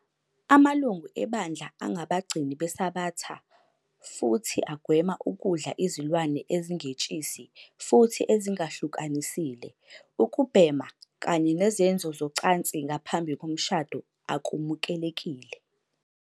Amalungu ebandla angabagcini beSabatha futhi agwema ukudla izilwane ezingetshisi futhi ezingahlukanisile, ukubhema, kanye nezenzo zocansi ngaphambi komshado akumukelekile.